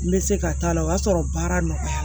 N bɛ se ka t'a la o y'a sɔrɔ baara nɔgɔyara